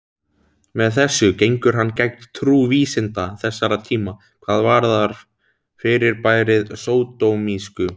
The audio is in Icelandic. Með þessu gengur hann gegn trú vísinda þessara tíma hvað varðar fyrirbærið sódómísku.